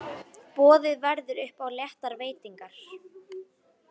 Boðið verður upp á léttar veitingar.